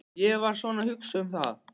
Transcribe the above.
Ég var svona að hugsa um það.